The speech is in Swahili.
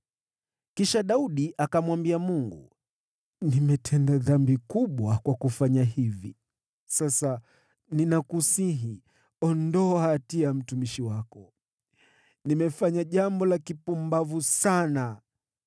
Kisha Daudi akamwambia Mungu, “Nimetenda dhambi kubwa kwa kufanya jambo hili. Sasa, ninakusihi, ondoa hatia ya mtumishi wako. Nimefanya jambo la kipumbavu sana.”